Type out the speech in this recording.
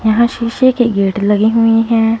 यहां शीशे के गेट लगी हुई है।